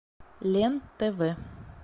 лен тв